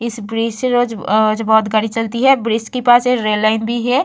इस ब्रिज से रोज आज बहोत गाड़ी चलती है ब्रिज के पास एक रेल लाइन भी है।